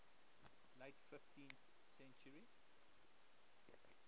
late fifteenth century